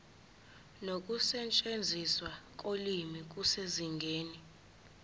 nokusetshenziswa kolimi kusezingeni